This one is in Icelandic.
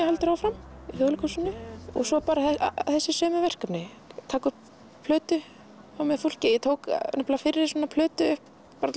heldur áfram í Þjóðleikhúsinu og svo þessi sömu verkefni og taka upp plötu með fólki ég tók fyrri plötu upp